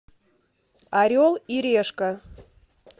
орел и решка